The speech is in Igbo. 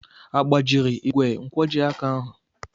Agbajiri igwe nkwojiaka ahụ?